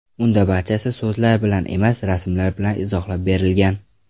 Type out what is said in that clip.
Unda barchasi so‘zlar bilan emas, rasmlar bilan izohlab berilgan.